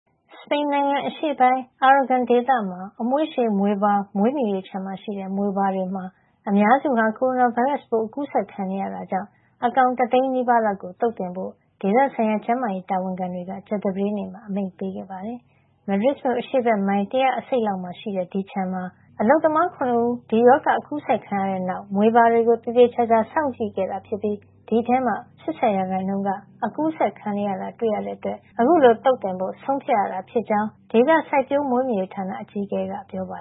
စပိန်နိုင်ငံ အရှေ့ပိုင်း Aragon ဒေသမှာ က အမွှေးရှည်- မြွေပါ မွေးမြူရေးခြံမှာ ရှိတဲ့ မြွေပါ တွေမှာ အများစုဟာ ကိုရိုနာဗိုင်းရပ်စ်ပိုး အကူးစက်ခံနေရတာကြောင့် အကောင်တသိန်း နီးပါး (၉၃,၀၀၀) လောက်ကို သုတ်သင်ဖို့ ဒေသဆိုင်ရာကျန်းမာရေး တာဝန်ခံတွေက ကြာသပတေးနေ့မှာ အမိန့်ပေးခဲ့ပါတယ်။ မဒရစ်မြို့ အရှေ့ဘက် မိုင် ၁၂၅ လောက်မှာ ရှိတဲ့ ဒီမွေးမြူရေးခြံမှာ မေလ ၂၂ ရက်နေ့က အလုပ်သမား ၇ ဦး ကိုဗစ် ၁၉ အကူးစက်ခံခဲ့ရတဲ့ နောက် မြွေပါတွေကို သေသေချာချာ စောင့်ကြည့်ခဲ့တာဖြစ်ပြီး အဲဒီထဲက ၈၀ % မှာ အကူးစက်ခံနေရကြောင်း တွေ့ရတာကြောင့် အခုလို သုတ်သင်ဖို့ ဆုံးဖြတ်ရတာ ဖြစ်ကြောင်း့Aragon ဒေသ စိုက်ပျိုးမွေးမြူရေးဌာန အကြီးအကဲ Joaquin Olona က ပြောပါ